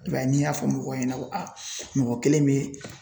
I b'a ye n'i y'a fɔ mɔgɔw ɲɛna ko mɔgɔ kelen bɛ